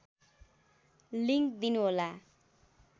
link दिनु होला